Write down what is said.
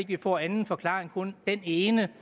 vi får anden forklaring på kun den ene